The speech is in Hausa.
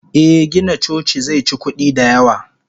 Eh Gina coci zeci kudi da yawa.